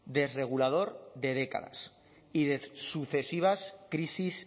desregulador de décadas y de sucesivas crisis